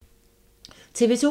TV 2